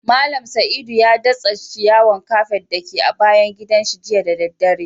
Mallam Saidu ya datsa ciyawan kafet da ke a bayan gidan shi jiya da dare.